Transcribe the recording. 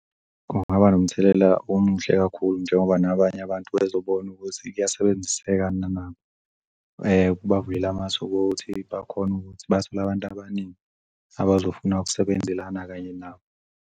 Kungaba nomthelela omuhle kakhulu njengoba nabanye abantu bezobona ukuthi kuyasebenziseka nanabo kubavumelele amathub' kuthi bakhone ukuthi bathole abantu abaningi abazofuna ukusebenzelana kanye nabo.